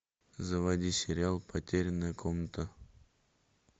заводи сериал потерянная комната